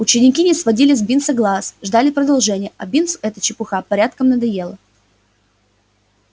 ученики не сводили с бинса глаз ждали продолжения а бинсу эта чепуха порядком надоела